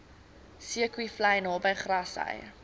zeekoevlei naby grassy